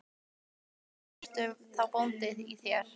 Kristján Már Unnarsson: En ertu þá bóndi í þér?